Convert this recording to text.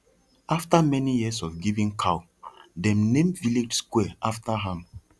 after many years of giving cow dem name village square after am